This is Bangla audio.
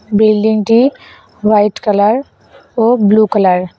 বিল্ডিংটি হোয়াইট কালার ও ব্লু কালার ।